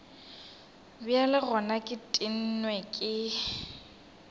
bjale gona ke tennwe ke